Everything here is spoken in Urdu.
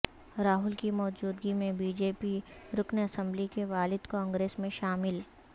راہل کی موجودگی میں بی جے پی رکن اسمبلی کے والد کانگریس میں شامل